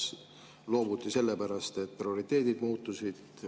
Ja kas loobuti sellepärast, et prioriteedid muutusid?